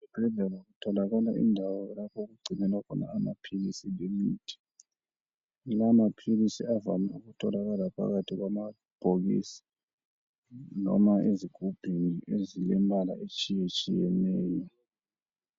Ezibhedlela kutholakala indawo lapho okugcinwa khona amaphilisi lemithi. Lawamaphilisi avame ukutholakala phakathi kwamabhokisi noma ezigubhini ezilembala etshiyetshiyeneyo.